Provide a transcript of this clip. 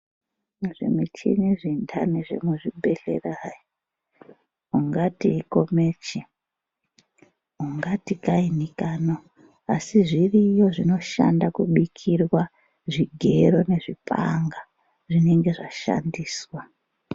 Zvimichini zvendani zvemuchibhedhlera hai, ungati ikomichi, ungati kaini kano. Asi zviriyo zvinoshanda kubikirwa zvigero nezvipanga zvinenge zvashandiswa.